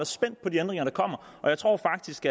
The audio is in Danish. spændt på de ændringer der kommer og jeg tror faktisk